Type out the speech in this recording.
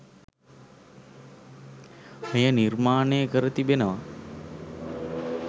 මෙය නිර්මාණය කර තිබෙනවා.